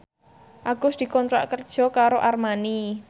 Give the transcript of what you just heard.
Agus dikontrak kerja karo Armani